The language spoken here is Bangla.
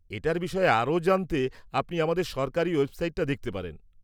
এটার বিষয়ে আরও জানতে আপনি আমাদের সরকারী ওয়েবসাইট-টা দেখতে পারেন।